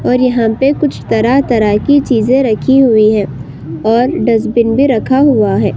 और यहाँ पे कुछ तरह-तरह की चीजें रखी हुई हैं और डस्टबिन भी रखा हुआ है।